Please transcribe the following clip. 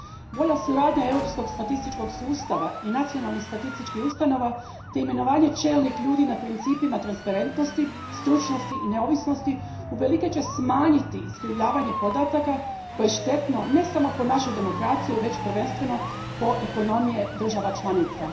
Bolja suradnja europskog statističkog sustava i nacionalih statističkih ustanova te imenovanje čelnih ljudi na principima transparentnosti, stručnosti i neovisnosti uvelike će smanjiti iskrivljavanje podataka koje je štetno ne samo po demokraciju već i po ekonomije država članica.